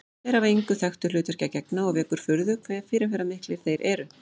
Þeir hafa engu þekktu hlutverki að gegna og vekur furðu hve fyrirferðarmiklir þeir eru.